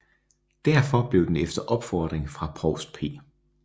Derfor blev den efter opfordring fra provst P